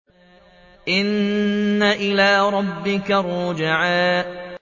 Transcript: إِنَّ إِلَىٰ رَبِّكَ الرُّجْعَىٰ